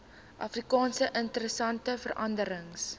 afrika interessante veranderings